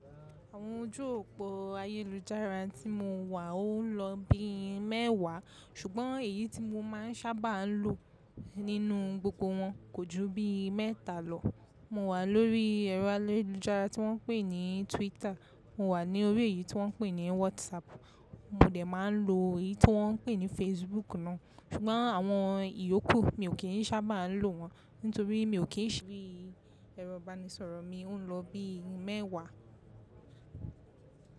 Àwọn ojú òpó ayélujára tí mo wà ò n lọ bí mẹ́wàá, ṣùgbọ́n èyí tí mo máa ń sábà lo nínú gbogbo wọn kò ju bí mẹ́ta lọ. Mo wà lórí ẹ̀rọ ayélujára tí wọ́n ń pè ní Twitter, mo wà ni órí èyí tí wọ́n ń pè ní Whatsapp, mo dẹ̀ máa n lo èyí tí wọ́n ń pè ní Facebook náà, ṣùgbọ́n àwọn ìyókù mi ò kì n sábà lo wọn nítorí mi ò kí n ṣi ẹ̀rọ ìbánisọ̀rọ̀ mi ò n lọ bí mẹ́wàá.